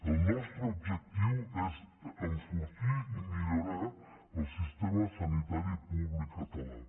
el nostre objectiu és enfortir i millorar el sistema sanitari públic català